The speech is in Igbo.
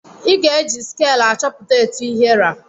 Ị ga-eji skel achọpụta etụ ihe ra.